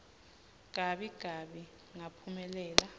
gabi gabi ngaphumelela